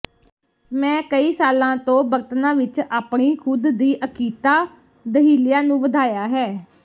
ਮੈਂ ਕਈ ਸਾਲਾਂ ਤੋਂ ਬਰਤਨਾ ਵਿਚ ਆਪਣੀ ਖੁਦ ਦੀ ਅਕੀਤਾ ਦਹੀਲਿਆ ਨੂੰ ਵਧਾਇਆ ਹੈ